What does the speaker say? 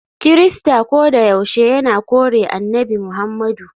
Kirista kodayaushe yana kore Annabi Muhammadu.